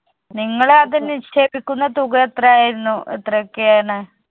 നിങ്ങള് അതിൽ നിശ്ചേപിക്കുന്ന തുക എത്രയായിരുന്നു എത്ര ഒക്കെയാണ്